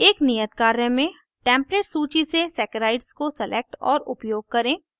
एक नियत कार्य में templates सूची से सैकराइड्स को select और उपयोग करें